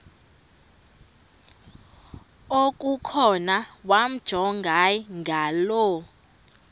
okukhona wamjongay ngaloo